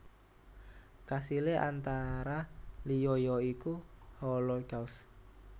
Kasilé antara liya ya iku Holocaust